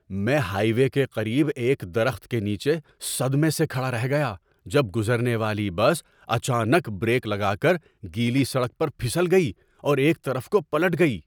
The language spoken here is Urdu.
میں ہائی وے کے قریب ایک درخت کے نیچے صدمے سے کھڑا رہ گیا جب گزرنے والی بس اچانک بریک لگا کر گیلی سڑک پر پھسل گئی اور ایک طرف کو پلٹ گئی۔